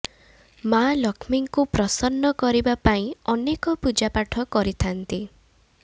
ମା ଲକ୍ଷ୍ମୀଙ୍କୁ ପ୍ରସନ୍ନ କରିବା ପାଇଁ ଅନେକ ପୂଜା ପାଠ କରିଥାନ୍ତି